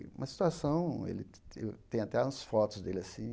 E uma situação ele te te, tem até as fotos dele assim,